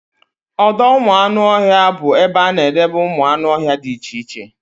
Ọdọụmụanụọhịa bụ ebe a na-edebe ụmụanụọhịa dị iche iche